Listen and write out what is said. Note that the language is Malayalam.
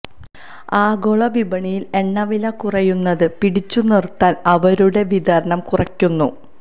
ആഗോള വിപണിയില് എണ്ണ വില കുറയുന്നത് പിടിച്ചുനിര്ത്താന് അവരുടെ വിതരണം കുറയ്ക്കുന്നു